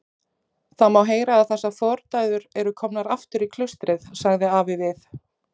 Það má heyra að þessar fordæður eru komnar aftur í klaustrið, sagði afi við